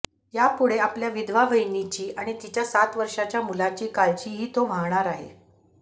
यापुढे आपल्या विधवा वहिनीची आणि तिच्या सात वर्षांच्या मुलाची काळजीही तो वाहणार आहे